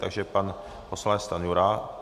Takže pan poslanec Stanjura.